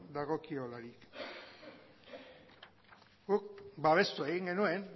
dagokiolarik guk babestu egin genuen